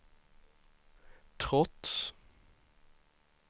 trots